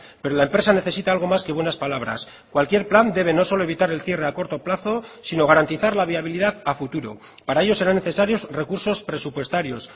pero la empresa necesita algo más que buenas palabras cualquier plan debe no solo evitar el cierre a corto plazo sino garantizar la viabilidad a futuro para ello serán necesarios recursos presupuestarios